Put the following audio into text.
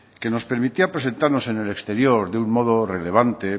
que nos permitía presentarnos en el exterior de un modo relevante